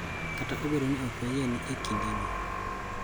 Kata obedo ni ok wayie ni e kindeni,